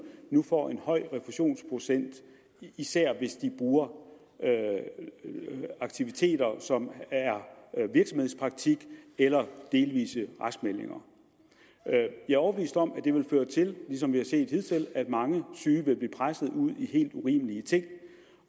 nu får en høj refusionsprocent især hvis de bruger aktiviteter som virksomhedspraktik eller delvise raskmeldinger jeg er overbevist om at det vil føre til ligesom vi har set hidtil at mange syge vil blive presset ud i helt urimelige ting